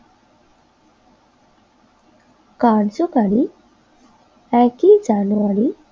কার্যকরী একই জানুয়ারি